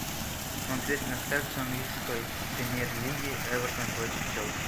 смотреть трансляцию английской премьер лиги эвертон против челси